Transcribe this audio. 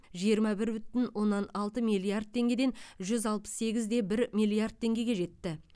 жиырма бір бүтін оннан алты миллиард теңгеден жүз алпыс сегізде бір миллиард теңгеге жетті